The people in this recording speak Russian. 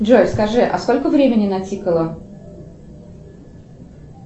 джой скажи а сколько времени натикало